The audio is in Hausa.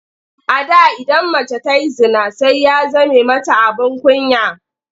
A da idan mace ta yi zina sai ya zame mata abin kunya.